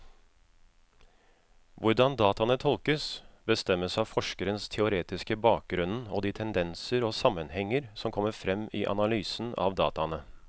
Hvordan dataene tolkes, bestemmes av forskerens teoretiske bakgrunnen og de tendenser og sammenhenger som kommer frem i analysen av dataene.